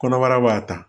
Kɔnɔbara b'a ta